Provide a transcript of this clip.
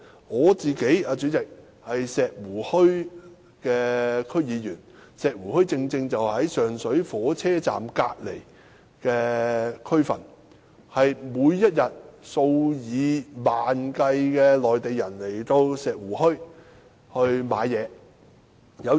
我是石湖墟的區議員，而石湖墟正是位處上水火車站旁的區份，每天均有數以萬計的內地旅客前來石湖墟購物。